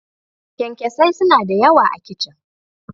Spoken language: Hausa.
Kyankyasai suna da yawa a kicin.